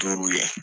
Duuru ye